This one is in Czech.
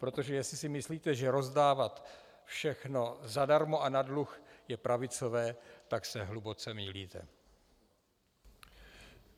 Protože jestli si myslíte, že rozdávat všechno zadarmo a na dluh je pravicové, tak se hluboce mýlíte.